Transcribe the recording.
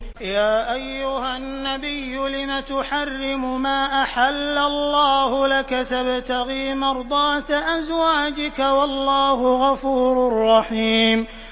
يَا أَيُّهَا النَّبِيُّ لِمَ تُحَرِّمُ مَا أَحَلَّ اللَّهُ لَكَ ۖ تَبْتَغِي مَرْضَاتَ أَزْوَاجِكَ ۚ وَاللَّهُ غَفُورٌ رَّحِيمٌ